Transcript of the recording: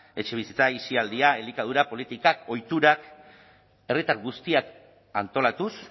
etxebizitza aisialdia elikadura politikak ohiturak herritar guztiak antolatuz